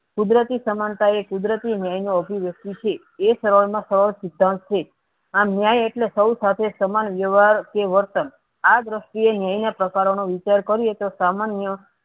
કુદરતી સમાનતા ઓ કુદરતી ન્યાયનો અધિવ્ય્ક્તિ છે એ સરળ માં સરળ સિદ્ધાંત છે આ ન્યાય એટલે સૌ સાથે સમાન વ્યવહાર કે વર્તન આ દ્રષ્ટિ એ ન્યાયના પ્રકાર નો વિચાર કર્યે તો સામાન્ય